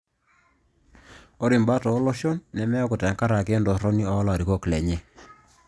Ore imbat ooloshon nemeeku tenkaraki entorroni oolarikon lenye